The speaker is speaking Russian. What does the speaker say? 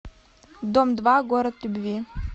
дом два город любви